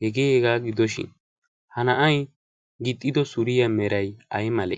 hegeeegaa gidoshin ha na7ai gixxido suriya merai ai male?